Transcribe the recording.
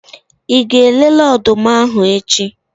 Ị ga-elele ọdụm ahu echi?